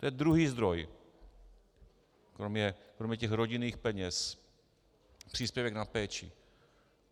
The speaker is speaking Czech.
To je druhý zdroj, kromě těch rodinných peněz - příspěvek na péči.